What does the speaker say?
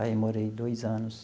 Aí, morei dois anos.